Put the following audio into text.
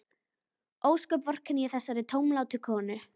Ósköp vorkenni ég þessari tómlátu konu.